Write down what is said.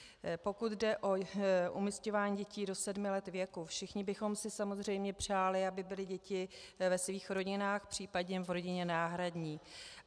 Pokud jde o umísťování dětí do sedmi let věku, všichni bychom si samozřejmě přáli, aby byly děti ve svých rodinách, případně v rodině náhradní.